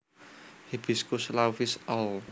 Hibiscus laevis All